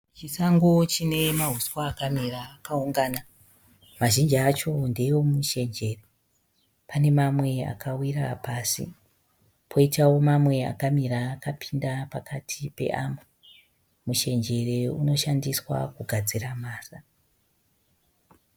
Chisango chine mahuswa akamira akaungana. Mazhinji acho ndee Mushenjere. Pane mamwe akawira pasi, poitawo mamwe akamira akapinda pakati peamwe. Mushenjere unoshandiswa kugadzira mhasa.